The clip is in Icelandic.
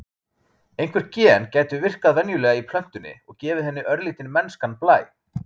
einhver gen gætu virkað venjulega í plöntunni og gefið henni örlítinn mennskan blæ